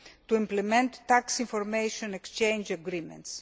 to implement tax information exchange agreements.